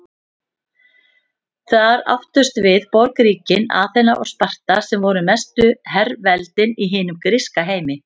Þar áttust við borgríkin Aþena og Sparta sem voru mestu herveldin í hinum gríska heimi.